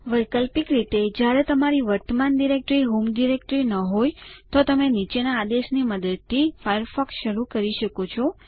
વૈકલ્પિક રીતે જ્યારે તમારી વર્તમાન ડિરેક્ટરી હોમ ડિરેક્ટરી ન હોય તો તમે નીચેના આદેશની મદદથી ફાયરફોક્સ શરૂ કરી શકો છો